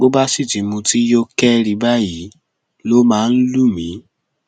bó bá sì ti mutí yó kẹri báyìí ló máa ń lù mí